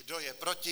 Kdo je proti?